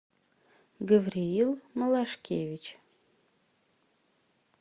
гавриил малашкевич